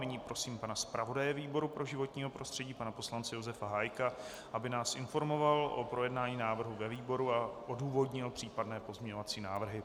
Nyní prosím pana zpravodaje výboru pro životní prostředí pana poslance Josefa Hájka, aby nás informoval o projednání návrhu ve výboru a odůvodnil případné pozměňovací návrhy.